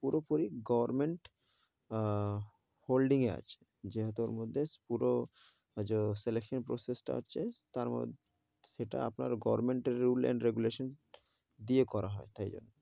পুরো পুরি government ah holding এ আছে, যেহেতো ওর মধ্যে পুরো selection process টা আছে, তার মধ্যে সেটা আপনার গভর্মেন্টের rule and regulation দিয়ে করা হয় তাই,